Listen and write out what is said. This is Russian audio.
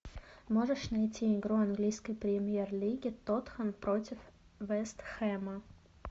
можешь найти игру английской премьер лиги тоттенхэм против вест хэма